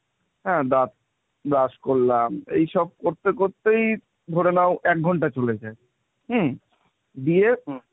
হ্যাঁ দাঁত brash করলাম এইসব করতে করতেই ধরে নাও এক ঘণ্টা চলে যায়, হুম? দিয়ে,